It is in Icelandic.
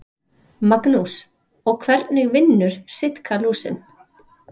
Magnús: Og hvernig vinnur Sitkalúsin?